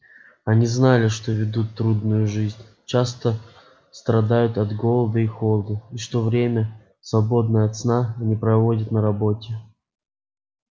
они знали что ведут трудную жизнь часто страдают от голода и холода и что все время свободное от сна они проводят на работе